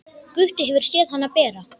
Gutti hefur séð hana bera.